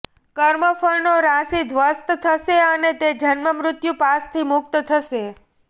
કર્મફળનો રાશિ ધ્વસ્ત થશે અને તે જન્મમૃત્યુ પાશથી મુક્ત થશે